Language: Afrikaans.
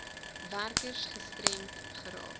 werkers gestremd raak